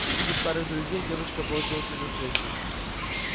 увидев старых друзей девочка бросилась им навстречу